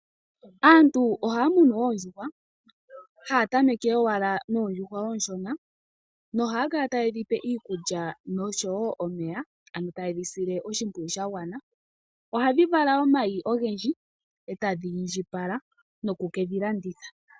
Aantu ohaya munu oondjuhwa, haya tameke owala noondjuhwa oonshona nohaya kala ta yedhi pe iikulya noshowo omeya, ano ta yedhi sile oshimpwiyu sha gwana. Ohadhi vala omayi ogendji e tadhi indjipala noku kedhi landitha.